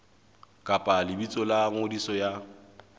kapa lebitso la ngodiso ya